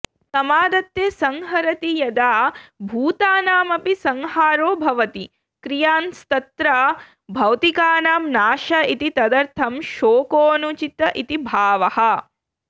समादत्ते संहरति यदा भूतानामपि संहारो भवति कियांस्तत्र भौतिकानां नाश इति तदर्थं शोकोनुचित इति भावः